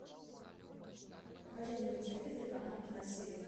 покажи мне на телевизоре канал киносерия